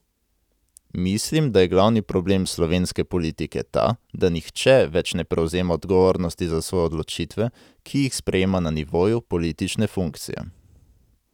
Mislim, da je glavni problem slovenske politike ta, da nihče več ne prevzema odgovornosti za svoje odločitve, ki jih sprejema na nivoju politične funkcije.